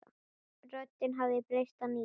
Röddin hafði breyst að nýju.